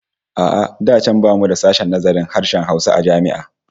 A'a da can bamu da sashen nazarin harshen Hausa a jami'a